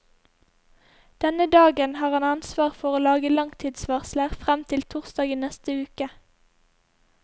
Denne dagen har han ansvar for å lage langtidsvarsler frem til torsdag i neste uke.